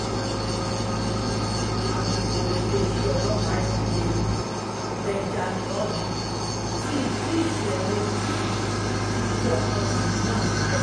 alūkọ̀rọ̀ iléeṣẹ́ ọlọ́pàá ìpínlẹ̀ èkó benjamin hondyin fìdí ìṣẹ̀lẹ̀ ikú ikú ọmọkùnrin náà múlẹ̀